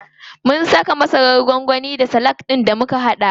Mun saka masarar gwangwani a salak ɗin da muka haɗa.